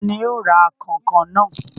Ta ni yóò ra kànkàn náà?